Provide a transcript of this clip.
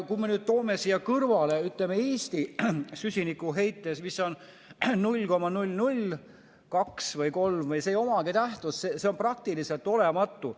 Kui me toome siia kõrvale Eesti süsinikuheite, siis see on 0,002 või 0,003, see ei omagi tähtsust, see on praktiliselt olematu.